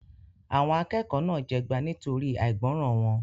Àwọn akẹ́kọ̀ọ́ náà jẹgba nítorí àìgbọràn wọn.